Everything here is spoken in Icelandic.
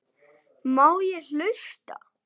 Má ég hlusta?